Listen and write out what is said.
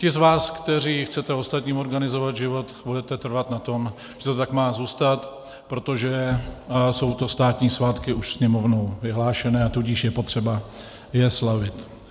Ti z vás, kteří chcete ostatním organizovat život, budete trvat na tom, že to tak má zůstat, protože jsou to státní svátky už Sněmovnou vyhlášené, a tudíž je potřeba je slavit.